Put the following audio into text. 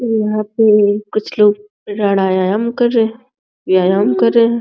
यहाँ पे कुछ लोग रडायाम कर रहे रडायाम कर रहे हैं।